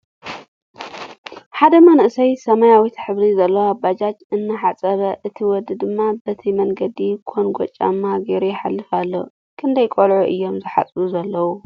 ሓደ መንእሰይ ሰመያዊት ሕብሪ ዘለዋ ባጃጅ እናሓፀቡ እቲ ወዲ ድማ ብቲ መንገዲ ኮንጎ ጫማ ገይሩ ይሓልፍ አሎ። ክንደይ ቆልዑ እዮም ዝሓፅቡ ዘለዉ?